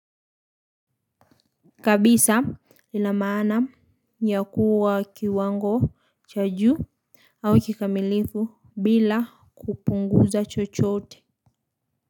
Kabisa lina maana ya kuwa kiwango cha juu au kikamilifu bila kupunguza chochote.